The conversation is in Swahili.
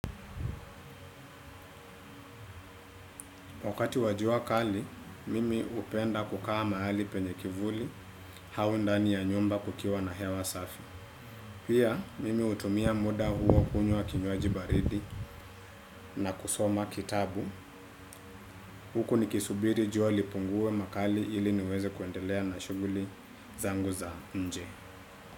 Wakati wa jua kali, mimi upenda kukaa mahali penye kivuli, au ndani ya nyumba kukiwa na hewa safi. Pia, mimi utumia muda huo kunywa kinywaji baridi na kusoma kitabu. Huku ni kisubiri jua lipungue makali ili niweze kuendelea na shuguli zangu za nje.